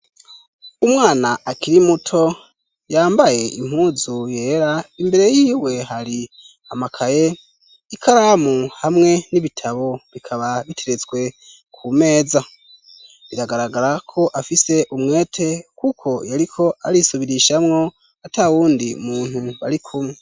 Umwana akiri muto yambaye impuzu yera imbere y'iwe hari amakaye ikaramu hamwe n'ibitabo bikaba biteretswe ku meza, biragaragara ko afise umwete kuko yariko arisubirishamwo atawundi muntu bari kumwe.